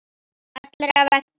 Allra vegna.